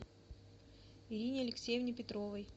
ирине алексеевне петровой